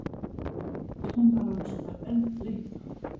Kennarans enn leitað